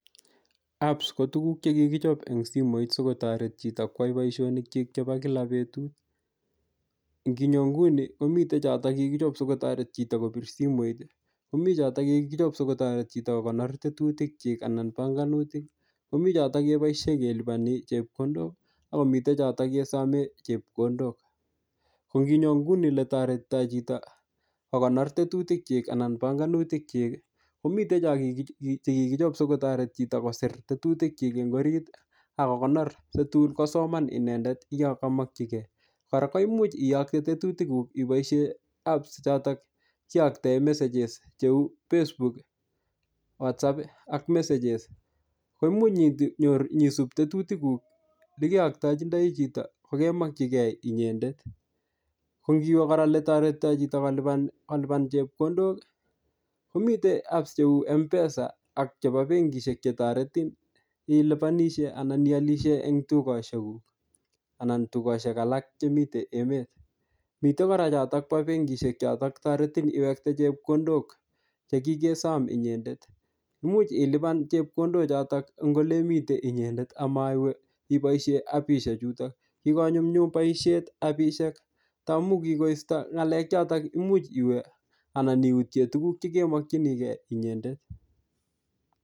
Apps ko tukuk chekikichop eng' simoishek sikotoret chito kwai boishonikchik chebo kila betut nginyo nguni komitei choto kikochop sikotoret chito kopir simoit komi chotok kikochop sikotoret chito kokonor tetutik chik anan panganutik komi chotok keboishe keliponi chepkondok akomitei chotok kesomee chepkondok ko nginyo nguni ole toretitoi chito kokonor tetutik chik anan panganutik chik komitei chekikichop sikotoret chito koser tetutikchik eng' orit akokonor si tun kosoman inendet yo kamokchigei kora koimuch iyokte tetutikuk iboishe apps chotok kiyoktoe messages cheu Facebook WhatsApp ak messages ko imuch nyisup tetutikuk likeyoktojindoi chito kokemokchigei inyendet kongiwe kora ole toretitoi chito kolipan chepkondok kometei apps cheu mpesa ak chebo benkishek chetoretin ilipanishe anan iolishe eng' tukoshekuk anan tukoshek alak chemitei emet mitei kora chotok bo benkishek chotok toretin iwekte chepkondok chekikesom inyendet imuuch ilipan chepkondochotok ing' ole imite inyendet amaiwe iboishe appishechuto kikonyumyum boishet appishek amu kikoisto ng'alek chotok muuch iwe anan iutye tukuk chekemokchinigeiinyendet